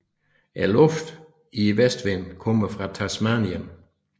Luften i vestenvinden kommer fra Tasmanien